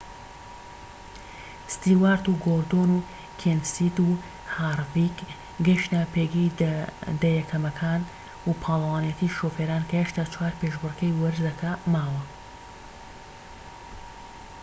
ستیوارت و گۆردۆن و کێنسیت و هارڤیک گەیشتنە پێگەی دە یەکەمەکان بۆ پاڵەوانیەتی شوفێران کە هێشتا چوار پێشبڕکێی وەرزەکە ماوە